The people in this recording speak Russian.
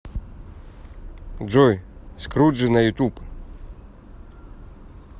джой скруджи на ютуб